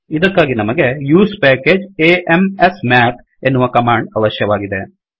ಇದಕ್ಕಾಗಿ ನಮಗೆ use package a m s mathಯೂಸ್ ಪೇಕೇಜ್ a m ಸ್ ಮೇಥ್ ಎನ್ನುವ ಕಮಾಂಡ್ ಅವಶ್ಯಕವಾಗಿದೆ